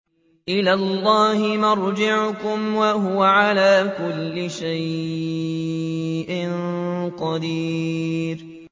إِلَى اللَّهِ مَرْجِعُكُمْ ۖ وَهُوَ عَلَىٰ كُلِّ شَيْءٍ قَدِيرٌ